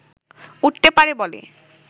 উঠতে পারে বলে